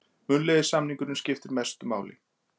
Munnlegi samningurinn skiptir mestu máli